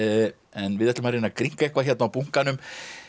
en við ætlum að reyna að grynnka eitthvað á bunkanum